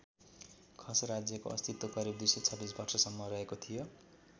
खस राज्यको अस्तित्व करिब २२६ वर्षसम्म रहेको थियो।